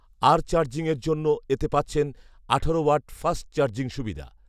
আর চার্জিংয়ের জন্য এতে পাচ্ছেন আঠারো ওয়াট ফাস্ট চার্জিং সুবিধা